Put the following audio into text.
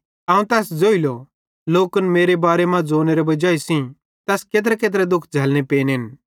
ते अवं तैस ज़ोइलो लोकन मेरे बारे मां ज़ोनेरे वजाई तैस केत्रेकेत्रे दुःख झ़ैलनो पेनोए